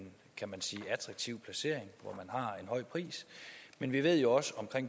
kan man sige attraktiv placering hvor har en høj pris men vi ved jo også om